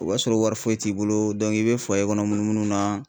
O b'a sɔrɔ wari foyi t'i bolo i bɛ kɔnɔ munu munu na.